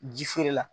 Ji feere la